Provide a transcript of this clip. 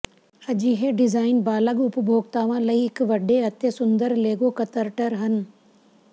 ਅਜਿਹੇ ਡਿਜ਼ਾਈਨ ਬਾਲਗ ਉਪਭੋਗਤਾਵਾਂ ਲਈ ਇੱਕ ਵੱਡੇ ਅਤੇ ਸੁੰਦਰ ਲੇਗੋ ਕਤਰਟਰ ਹਨ